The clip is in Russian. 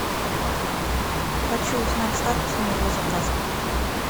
хочу узнать статус моего заказа